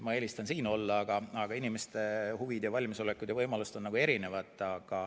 Ma eelistan siin olla, aga inimeste huvid ja valmisolekud ja võimalused on erinevad.